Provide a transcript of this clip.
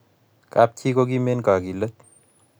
kap chii koo kim eng' kagilet